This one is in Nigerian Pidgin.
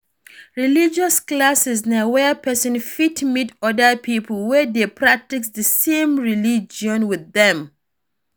Religious classes na where person fit meet oda pipo wey dey practice di same religion with dem